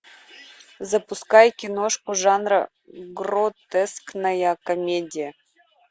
запускай киношку жанра гротескная комедия